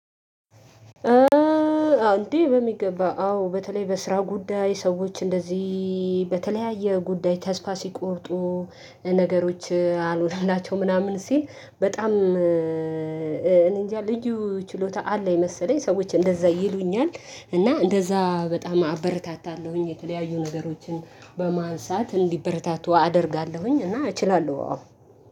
እዎ እንዴ በሚገባ አዎ በተለይ በስራ ጉዳይ ሰዎች እንደዚህ በተለያየ ጉዳይ ተስፋ ሲቆርጡ። ነገሮች አሎንላቸው ምናምን ሲል በጣም እንጃ ልዩ ችሎታ አለኝ የመሰለኝ ሰዎች እንደዛ ይሉኛል። እና እንደዛ በጣም አበረታታለሁኝ የተለያዩ ነገሮችን በማንሳት እንዲበረታቱ አደርጋለሁኝ እና እችላለሁ አዎ።